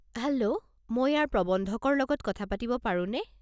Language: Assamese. হেল্ল', মই ইয়াৰ প্ৰৱন্ধকৰ লগত কথা পাতিব পাৰোনে?